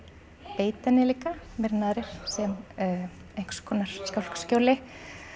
beita henni líka meira en aðrir sem einhvers konar skálkaskjóli